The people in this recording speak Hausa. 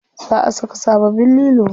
Za a saka sababbin lilo.